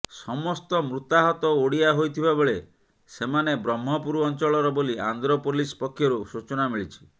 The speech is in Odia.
ସମସ୍ତ ମୃତାହତ ଓଡ଼ିଆ ହୋଇଥିବା ବେଳେ ସେମାନେ ବ୍ରହ୍ମପୁର ଅଞ୍ଚଳର ବୋଲି ଆନ୍ଧ୍ର ପୋଲିସ ପକ୍ଷରୁ ସୂଚନା ମିଳିଛି